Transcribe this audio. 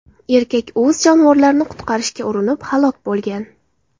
Erkak o‘z jonivorlarini qutqarishga urinib, halok bo‘lgan.